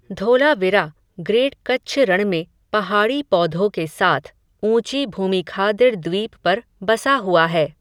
Dholavira, great Kutch Rann में, पहाड़ी पौधो के साथ, ऊंची भूमिखादिर द्वीप पर, बसा हुआ है